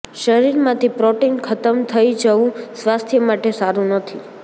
શરીરમાંથી પ્રોટીન ખતમ થઈ જવું સ્વાસ્થ્ય માટે સારુ નથી